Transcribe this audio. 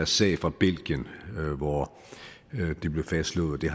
sag fra belgien hvor det blev fastslået at det